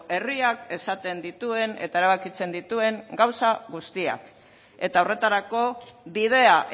herriak esaten dituen eta erabakitzen dituen gauza guztiak eta horretarako bidea